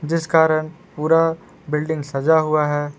जिस कारण पूरा बिल्डिंग सजा हुआ है।